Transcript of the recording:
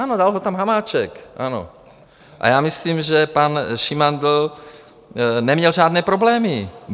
Ano, dal ho tam Hamáček, ano, a já myslím, že pan Šimandl neměl žádné problémy.